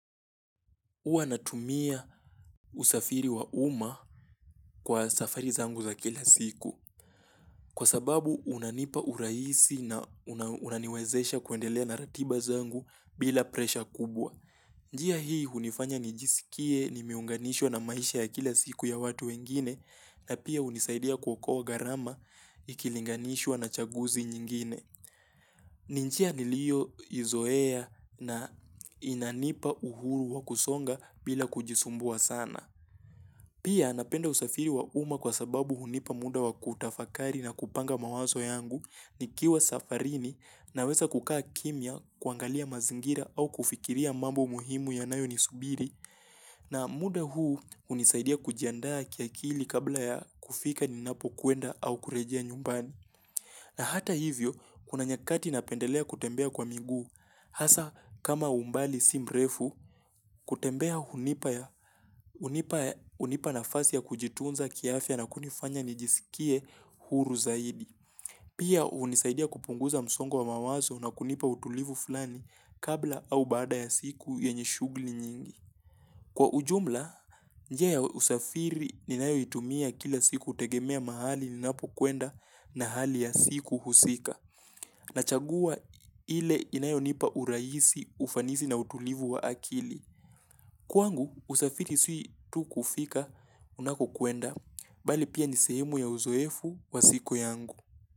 Huwa natumia usafiri wa uma kwa safari zangu za kila siku kwa sababu unanipa urahisi na unaniwezesha kuendelea na ratiba zangu bila pressure kubwa. Njia hii hunifanya nijisikie nimeunganishwa na maisha ya kila siku ya watu wengine na pia hunisaidia kuokoa gharama ikilinganishwa na chaguzi nyingine. Ni njia nilioizoea na inanipa uhuru wa kusonga bila kujisumbua sana Pia napenda usafiri wa uma kwa sababu hunipa muda wa kutafakari na kupanga mawazo yangu nikiwa safarini naweza kukaa kimya kuangalia mazingira au kufikiria mambo muhimu yanayo nisubiri na muda huu hunisaidia kujiandaa kiakili kabla ya kufika ninapokwenda au kurejea nyumbani na hata hivyo, kuna nyakati napendelea kutembea kwa miguu, hasaa kama umbali si mrefu, kutembea hunipa nafasi ya kujitunza kiafya na kunifanya nijisikie huru zaidi. Pia hunisaidia kupunguza msongo wa mawazo na kunipa utulivu fulani kabla au baada ya siku yenye shugli nyingi. Kwa ujumla, njia ya usafiri ninayoitumia kila siku hutegemea mahali ninapokwenda na hali ya siku husika. Nachagua ile inayonipa uraisi, ufanisi na utulivu wa akili. Kwangu, usafiri si tu kufika unakokwenda, bali pia ni sehemu ya uzoefu wa siku yangu.